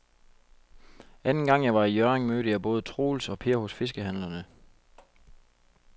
Anden gang jeg var i Hjørring, mødte jeg både Troels og Per hos fiskehandlerne.